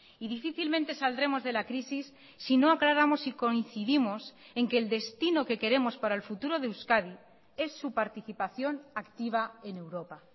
y difícilmente saldremos de la crisis si no aclaramos y coincidimos en que el destino que queremos para el futuro de euskadi es su participación activa en europa